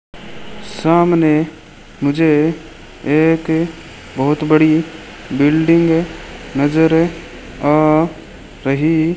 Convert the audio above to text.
सामने मुझे एक बहुत बड़ी बिल्डिंग नजर आ रही --